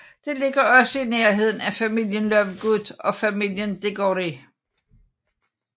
Det ligger også i nærheden af familien Lovegood og familien Diggory